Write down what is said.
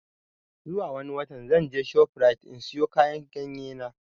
Zuwa wani watan zan je shof rite in siyo kayan ganye na